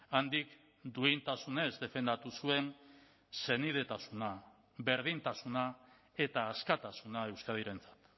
handik duintasunez defendatu zuen senidetasuna berdintasuna eta askatasuna euskadirentzat